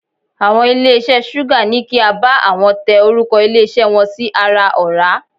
Àwọn ilé iṣẹ́ Súgà ní kí á bá àwọn tẹ orúkọ ilé iṣẹ́ wọn sí ara ọ̀rá.